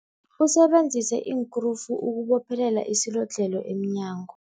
Usebenzise iinkrufu ukubophelela isilodlhelo emnyango.